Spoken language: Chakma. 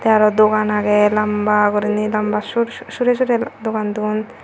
tey aro dogan agey lamba guriney labma sur surey surey dogan dun.